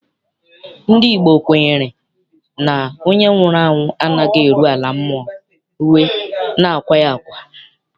Ndị Igbo kwenyere na onye nwụrụ anwụ anaghị eru ala mmụọ rue na akwaa ya akwa.